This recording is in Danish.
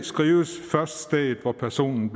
skrives først stedet hvor personen